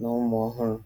na ụmụ ọhụrụ.